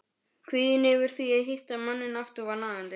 Kvíðinn yfir því að hitta manninn aftur var nagandi.